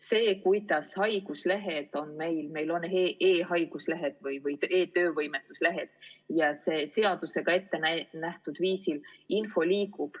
See süsteem, kuidas meil e-haiguslehed ehk e-töövõimetuslehed liiguvad, on seadusega ette nähtud.